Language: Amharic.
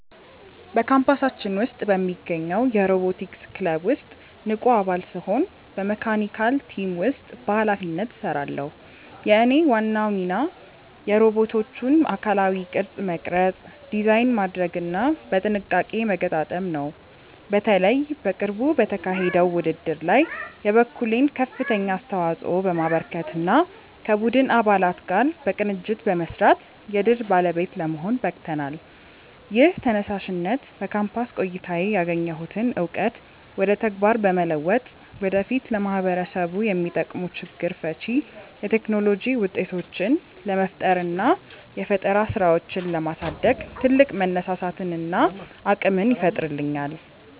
በካምፓሳችን ውስጥ በሚገኘው የሮቦቲክስ ክለብ ውስጥ ንቁ አባል ስሆን በመካኒካል ቲም ውስጥ በኃላፊነት እሰራለሁ። የእኔ ዋና ሚና የሮቦቶቹን አካላዊ ቅርጽ መቅረጽ፣ ዲዛይን ማድረግና በጥንቃቄ መገጣጠም ነው። በተለይ በቅርቡ በተካሄደው ውድድር ላይ የበኩሌን ከፍተኛ አስተዋጽኦ በማበርከትና ከቡድን አባላት ጋር በቅንጅት በመስራት የድል ባለቤት ለመሆን በቅተናል። ይህ ተነሳሽነት በካምፓስ ቆይታዬ ያገኘሁትን እውቀት ወደ ተግባር በመለወጥ ወደፊት ለማህበረሰቡ የሚጠቅሙ ችግር ፈቺ የቴክኖሎጂ ውጤቶችን ለመፍጠርና የፈጠራ ስራዎችን ለማሳደግ ትልቅ መነሳሳትንና አቅምን ይፈጥርልኛል።